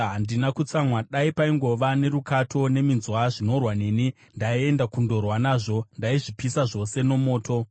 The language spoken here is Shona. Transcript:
Handina kutsamwa. Dai paingova nerukato neminzwa zvinorwa neni! Ndaienda kundorwa nazvo; ndaizvipisa zvose nomoto.